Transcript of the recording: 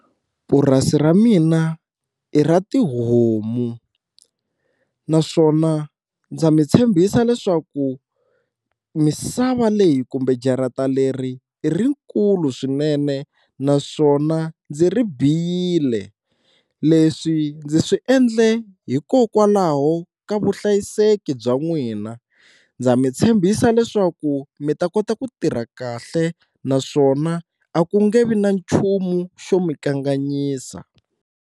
Purasi ra mina i ra tihomu naswona ndza mi tshembisa leswaku misava leyi kumbe jarata leri i rikulu swinene naswona ndzi ri biyile, leswi ndzi swi endle hikokwalaho ka vuhlayiseki bya n'wina ndza mi tshembisa leswaku mi ta kota ku tirha kahle naswona a ku nge vi na nchumu xo mi kanganyisa.